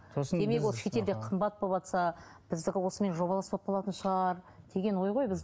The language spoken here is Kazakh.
демек ол шетелде қымбат болыватса біздікі осымен жобалас болып қалатын шығар деген ой ғой